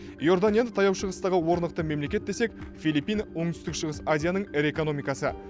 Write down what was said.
иорданияны таяу шығыстағы орнықты мемлекет десек филиппин оңтүстік шығыс азияның ірі экономикасы